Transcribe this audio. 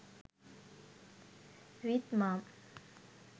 with mom